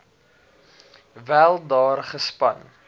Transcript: wel daar gespan